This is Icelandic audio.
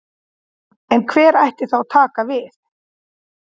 En hver ætti þá að taka við?